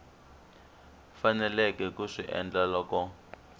faneleke ku swi endla loko